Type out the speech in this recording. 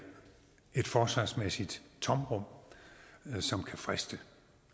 et forsvarsmæssigt tomrum som kan friste